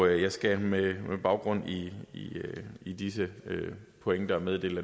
jeg skal med baggrund i i disse pointer meddele